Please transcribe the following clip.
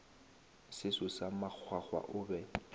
seso sa makgwakgwa o be